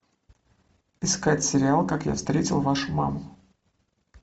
искать сериал как я встретил вашу маму